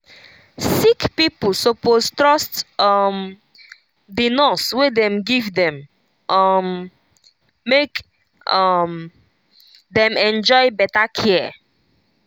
sick pipo suppose trust um the nurse wey dem give dem um make um dem enjoy better care.